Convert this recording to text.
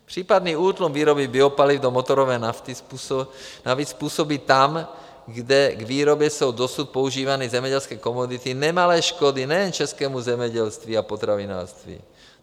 Případný útlum výroby biopaliv do motorové nafty navíc způsobí tam, kde k výrobě jsou dosud používány zemědělské komodity, nemalé škody nejen českému zemědělství a potravinářství.